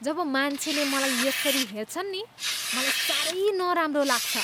जब मान्छेले मलाई यसरी हेर्छन् नि, मलाई साह्रै नराम्रो लाग्छ।